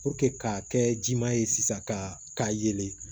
k'a kɛ jima ye sisan ka yelen